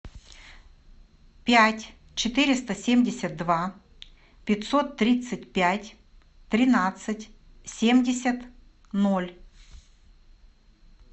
пять четыреста семьдесят два пятьсот тридцать пять тринадцать семьдесят ноль